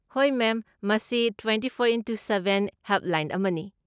ꯍꯣꯏ, ꯃꯦꯝ, ꯃꯁꯤ twenty four into seven helpline ꯑꯃꯅꯤ꯫